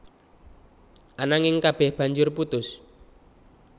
Ananging kabéh banjur putus